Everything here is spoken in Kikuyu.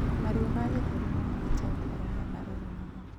Maruo ma gĩthũri nomahote gũkorwo me marũrũ mũno